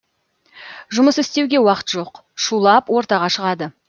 жұмыс істеуге уақыт жоқ шулап ортаға шығады